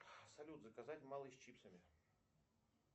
салют заказать малый с чипсами